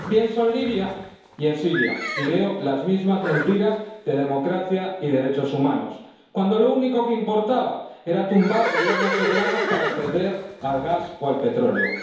Pienso en Libia y en Siria y veo las mismas mentiras de democracia y derechos humanos, cuando lo único que importaba era tumbar gobiernos soberanos para acceder al gas o al petróleo.